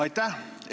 Aitäh!